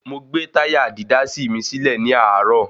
Mo gbàbe táyà dídásí mi sílẹ́ ní àárọ̀.